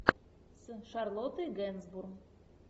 сын шарлотты генсбур